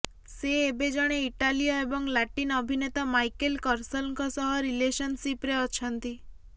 ସେ ଏବେ ଜଣେ ଇଟାଲୀୟ ଏବଂ ଲାଟିନ୍ ଅଭିନେତା ମାଇକେଲ କର୍ସଲଙ୍କ ସହ ରିଲେସନଶିପରେ ଅଛନ୍ତି